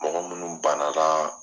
Mɔgɔ munnu bana la